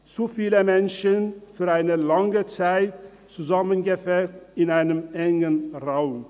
zu viele Menschen für eine lange Zeit zusammengepfercht in einem engen Raum.